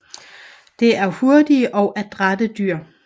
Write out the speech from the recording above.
Det er hurtige og adrætte dyr